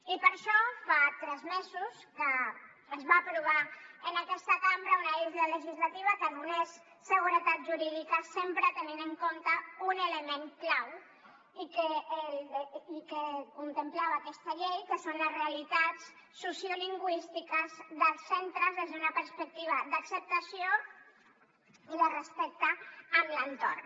i per això fa tres mesos que es va aprovar en aquesta cambra una eina legislativa que donés seguretat jurídica sempre tenint en compte un element clau que contemplava aquesta llei que són les realitats sociolingüístiques dels centres des d’una perspectiva d’acceptació i de respecte amb l’entorn